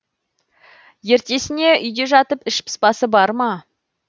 ертесіне үйде жатып іш пыспасы барма